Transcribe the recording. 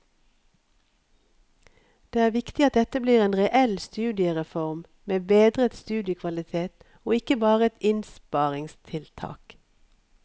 Det er viktig at dette blir en reell studiereform med bedret studiekvalitet og ikke bare et innsparingstiltak.